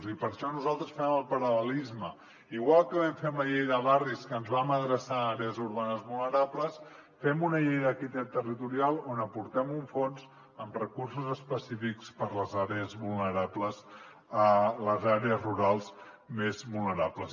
i per això nosaltres fem el paral·lelisme igual que vam fer amb la llei de barris que ens vam adreçar a àrees urbanes vulnerables fem una llei d’equitat territorial on aportem un fons amb recursos específics per a les àrees rurals més vulnerables